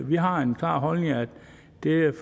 vi har den klare holdning at